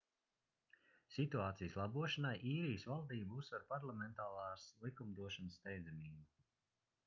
situācijas labošanai īrijas valdība uzsver parlamentārās likumdošanas steidzamību